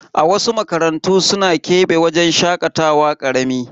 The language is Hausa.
Wasu makarantu suna kebe wajen shakatawa karami.